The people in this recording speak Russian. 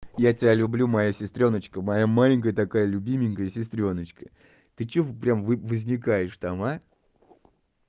я тебя люблю моя сестреночка моя маленькая такая любименькая сестреночка ты что прям возникаешь там а